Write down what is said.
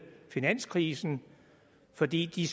finanskrisen fordi de